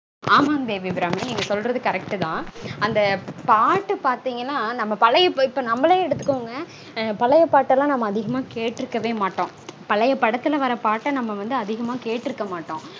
ஆமாங் தேவி அபிராமி. நீங்க சொல்றது correct -தா. அந்த பாட்டு பாத்தீங்கன்னா இப்போ நம்மளே எடுத்துக்கோங்க. பழைய பாட்டுலாம் நாம அதிகமா கேட்டிருக்கவே மாட்டோம். பழைய படத்துல வர பாட்டு நாம வந்து அதிகம் கேட்டிருக்க மாட்டோம்